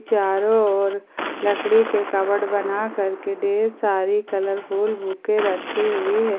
चारों ओर लकड़ी के कवबोर्ड बनाकर के ढेर सारी कलरफुल बुके रखी हुई है।